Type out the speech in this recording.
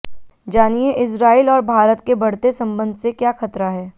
जानिए इजराइल और भारत के बढ़ते संबंध से क्या खतरा है